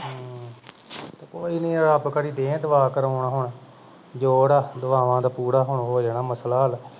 ਹੂ ਕੋਈ ਨਹੀਂ ਰਬ ਗੜ੍ਹੀ ਦੇਹ ਦੁਵਾਅ ਕਰਾ ਹੁਣ ਜੋੜ ਦੁਆਵਾਂ ਦਾ ਹੁਣ ਪੂਰਾ ਹੋ ਜਾਣਾ ਮਸਲਾ ਹਲ